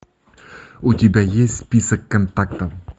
у тебя есть список контактов